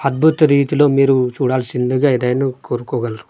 అద్భుత రీతిలో మీరు చూడాల్సిందిగా ఏదైనా కోరుకోగలరు.